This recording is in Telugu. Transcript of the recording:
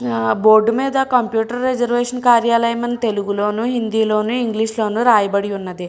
ఆ బోర్డు మీద కంప్యూటర్ రిజర్వేషన్ కార్యాలయం అని తెలుగు లోను హిందీ లోను ఇంగ్లీష్ లోను రాయబడి ఉంది.